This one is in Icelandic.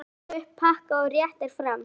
Dregur upp pakka og réttir fram.